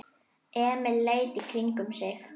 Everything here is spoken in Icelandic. Emil leit í kringum sig.